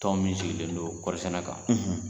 Tɔn min sigilen don kɔri sɛnɛ kan